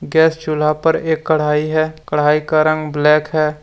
Gas चूल्हा पर एक कड़ाही है कड़ाही का रंग ब्लैक है।